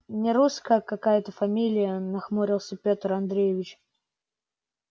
нерусская какая-то фамилия нахмурился петр андреевич